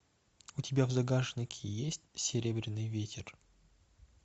у тебя в загашнике есть серебряный ветер